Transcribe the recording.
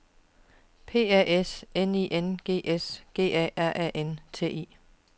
P A S N I N G S G A R A N T I